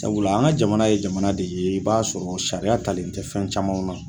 Sabula an ka jamana ye jamana de ye i b'a sɔrɔ sariya talen tɛ fɛn camanw na.